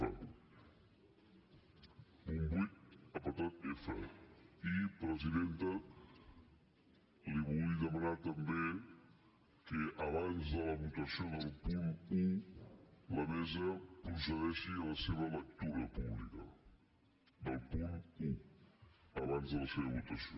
f presidenta li vull demanar també que abans de la votació del punt un la mesa procedeixi a la seva lectura pública del punt un abans de la seva votació